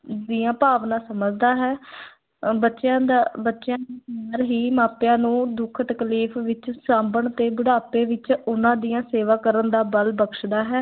ਦੀਆਂ ਭਾਵਨਾ ਸਮਝਦਾ ਹੈ ਅਹ ਬੱਚਿਆਂ ਦਾ ਬੱਚਿਆਂ ਨਾਲ ਹੀ ਮਾਪਿਆਂ ਨੂੰ ਦੁੱਖ ਤਕਲੀਫ਼ ਵਿੱਚ ਸਾਂਭਣ ਤੇ ਬੁਢਾਪੇ ਵਿੱਚ ਉਹਨਾਂ ਦੀਆਂ ਸੇਵਾ ਕਰਨ ਦਾ ਬਲ ਬਖ਼ਸ਼ਦਾ ਹੈ।